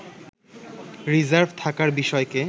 reserve থাকার বিষয়কে